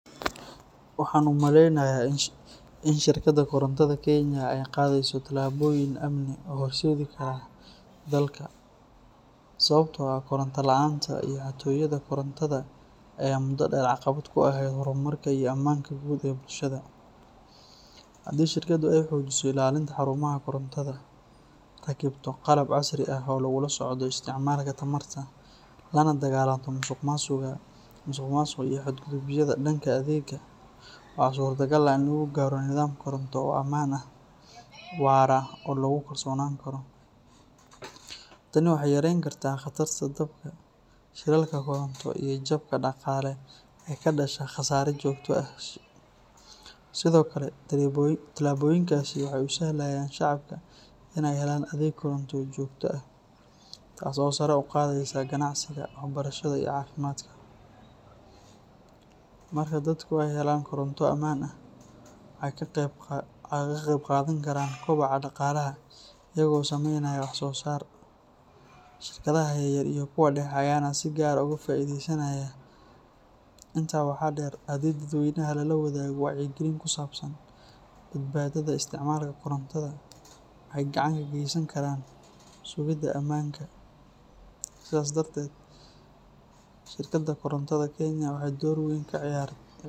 Waxaan u maleynayaa in shirkadda korontada Kenya ay qaadayso tallaabooyin amni u horseedi kara dalka, sababtoo ah koronto la’aanta iyo xatooyada korontada ayaa muddo dheer caqabad ku ahayd horumarka iyo ammaanka guud ee bulshada. Haddii shirkaddu ay xoojiso ilaalinta xarumaha korontada, rakibto qalab casri ah oo lagula socdo isticmaalka tamarta, lana dagaallanto musuqmaasuqa iyo xadgudubyada dhanka adeegga, waxaa suurtogal ah in lagu gaaro nidaam koronto oo ammaan ah, waara oo lagu kalsoonaan karo. Tani waxay yareyn kartaa khataraha dabka, shilalka koronto iyo jabka dhaqaale ee ka dhasha khasaare joogto ah. Sidoo kale, tallaabooyinkaasi waxay u sahlayaan shacabka inay helaan adeeg koronto oo joogto ah, taasoo sare u qaadaysa ganacsiga, waxbarashada iyo caafimaadka. Marka dadku ay helaan koronto ammaan ah, waxay ka qeybqaadan karaan kobaca dhaqaalaha iyagoo sameynaya waxsoosaar, shirkadaha yaryar iyo kuwa dhexe ayaana si gaar ah uga faa'iideysanaya. Intaa waxaa dheer, haddii dadweynaha lala wadaago wacyigelin ku saabsan badbaadada isticmaalka korontada, waxay gacan ka geysan karaan sugidda ammaanka. Sidaas darteed, shirkadda korontada Kenya waxay door weyn ka ciyaari.